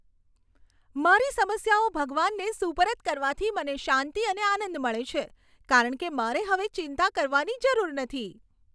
મારી સમસ્યાઓ ભગવાનને સુપરત કરવાથી મને શાંતિ અને આનંદ મળે છે, કારણ કે મારે હવે ચિંતા કરવાની જરૂર નથી.